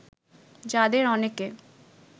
যাদের অনেকে